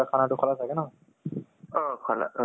বতৰতো বেয়া কৰিছে, দি